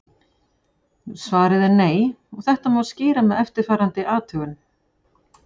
Svarið er nei og þetta má skýra með eftirfarandi athugun.